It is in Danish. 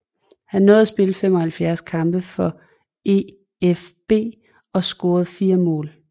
Han nåede at spille 75 kampe for EfB og score 4 mål